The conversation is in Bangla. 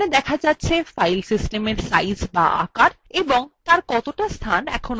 এখানে দেখা যাচ্ছে ফাইল সিস্টেমের সাইজ এবং কতটা স্থান ব্যবহার করা হয়েছে